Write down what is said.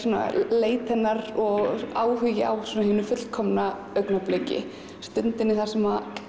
leit hennar og áhugi á hinu fullkomna augnabliki stundinni þar sem